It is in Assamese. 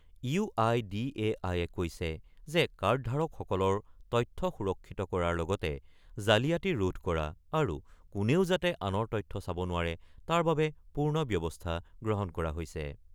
UIDAI-এ কৈছে যে কাৰ্ডধাৰকসকলৰ তথ্য সুৰক্ষিত কৰাৰ লগতে জালিয়াতি ৰোধ কৰা আৰু কোনেও যাতে আনৰ তথ্য চাব নোৱাৰে তাৰ বাবে পূৰ্ণ ব্যৱস্থা গ্ৰহণ কৰা হৈছে।